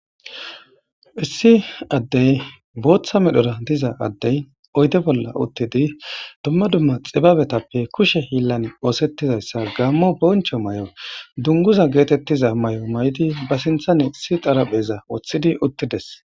issi addey booththa medhora diza addey oyde bolla uttidi dumma dumma xibabetappe kushe hillan oosettizayssa gaammo boncho may7o dunguza geetettiza may7o may7di ba sinthane issi xarapheza woththidi uttides